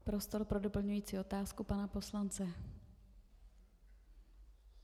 Prostor pro doplňující otázku pana poslance.